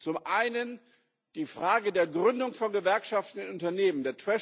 Zum einen die Frage der Gründung von Gewerkschaften in Unternehmen.